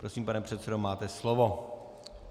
Prosím, pane předsedo, máte slovo.